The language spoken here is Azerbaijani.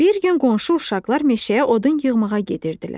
Bir gün qonşu uşaqlar meşəyə odun yığmağa gedirdilər.